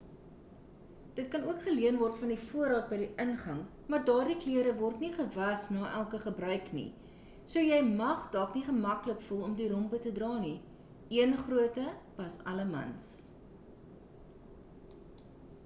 dit kan ook geleen word van die voorraad by die ingang maar daardie klere word nie gewas nie elke gebruiker nie so jy mag dalk nie gemaklik voel om die rompe te dra nie een grootte pas alle mans